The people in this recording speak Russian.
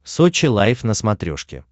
сочи лайф на смотрешке